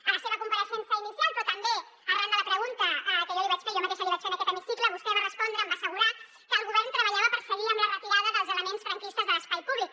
a la seva compareixença inicial però també arran de la pregunta que jo li vaig fer jo mateixa li vaig fer en aquest hemicicle vostè va respondre em va assegurar que el govern treballava per seguir amb la retirada dels elements franquistes de l’espai públic